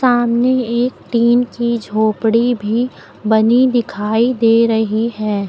सामने एक टीन की झोपड़ी भी बनी दिखाई दे रही है।